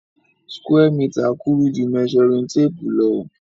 Square meter kúrú ju measuring tape lo